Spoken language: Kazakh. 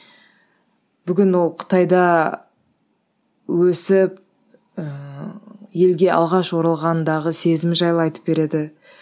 бүгін ол қытайда өсіп ыыы елге алғаш оралғандағы сезімі жайлы айтып береді